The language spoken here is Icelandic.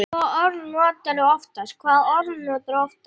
Hvaða orð notarðu oftast?